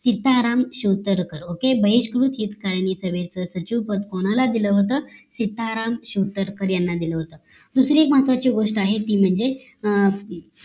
Sitaram Chautarkar OKAY बहिष्कृत हितकारी सभेचं सचिव पद कोणाला दिल होत तर सीताराम चौतारकार यांना दिल होत दुसरी एक महत्वाची गोष्ट आहे ती म्हणजे